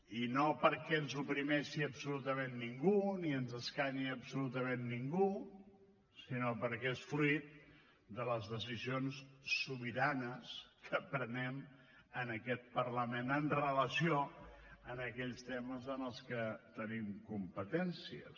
i no perquè ens oprimeixi absolutament ningú ni ens escanyi absolutament ningú sinó perquè és fruït de les decisions sobiranes que prenem en aquest parlament amb relació a aquells temes en els que tenim competències